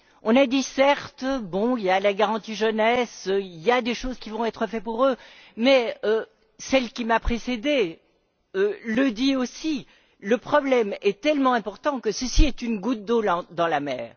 On a dit bon, il y a la garantie jeunesse, il y a des choses qui vont être faites pour eux, mais celle qui m'a précédée l'a dit aussi le problème est tellement important que ceci est une goutte d'eau dans la mer.